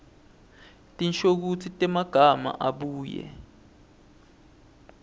tinshokutsi temagama abuye